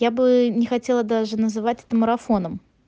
я бы не хотела даже называть это марафоном